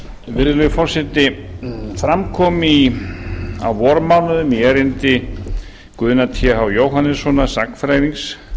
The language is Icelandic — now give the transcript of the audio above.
virðulegi forseti fram kom á vormánuðum í erindi guðna th jóhannessonar sagnfræðings